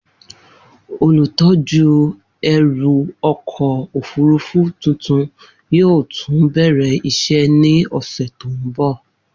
Olutọju ẹru ọkọ ofurufu tuntun yoo tun bẹrẹ iṣẹ ni ọsẹ ti n bọ.